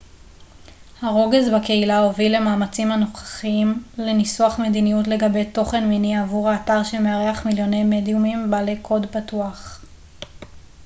הרוגז בקהילה הוביל למאמצים הנוכחיים לניסוח מדיניות לגבי תוכן מיני עבור האתר שמארח מיליוני מדיומים בעלי קוד פתוח